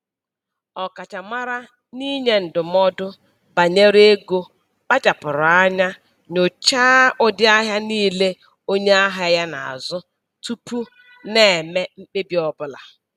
Ọkachamara n'inye ndụmọdụ banyere ego kpachapụrụ anya nyochaa ụdị ahịa niile onye ahịa ya na-azụ tupu na-eme mkpebi ọbụla